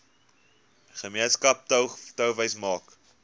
gemeenskap touwys maak